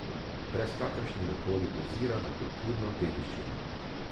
Brez kakršnega koli ozira na kulturno dediščino.